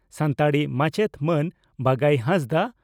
ᱥᱟᱱᱛᱟᱲᱤ ᱢᱟᱪᱮᱫ ᱢᱟᱱ ᱵᱟᱜᱟᱭ ᱦᱟᱸᱥᱫᱟᱜ